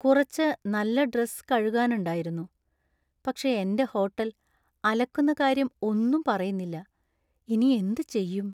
കുറച്ച് നല്ല ഡ്രസ്സ് കഴുകാനുണ്ടായിരുന്നു, പക്ഷേ എന്‍റെ ഹോട്ടൽ അലക്കുന്ന കാര്യം ഒന്നും പറയുന്നില്ല, ഇനി എന്ത് ചെയ്യും?